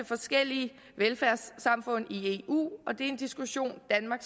forskellige velfærdssamfund i eu og det er en diskussion danmark